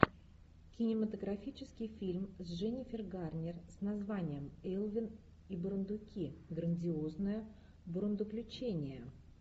кинематографический фильм с дженнифер гарнер с названием элвин и бурундуки грандиозное бурундуключение